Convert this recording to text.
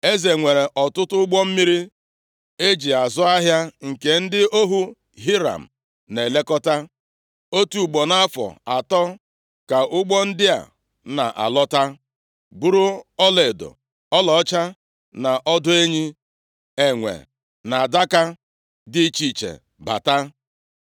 Eze nwere ọtụtụ ụgbọ mmiri e ji azụ ahịa nke ndị ohu Hiram na-elekọta. Otu ugbo nʼafọ atọ, ka ụgbọ ndị a na-alọta buru ọlaedo, ọlaọcha na ọdụ enyi, enwe na adaka dị iche iche bata.